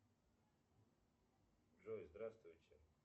джой здравствуйте